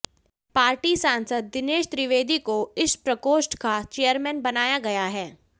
party सांसद दिनेश त्रिवेदी को इस प्रकोष्ठ का चेयरमैन बनाया गया है